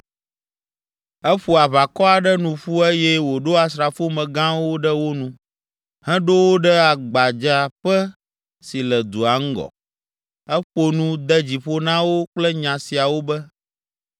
Eƒo aʋakɔ aɖe nu ƒu eye wòɖo asrafomegãwo ɖe wo nu, heɖo wo ɖe gbadzaƒe si le dua ŋgɔ. Eƒo nu, de dzi ƒo na wo kple nya siawo be,